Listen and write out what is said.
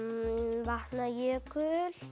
Vatnajökull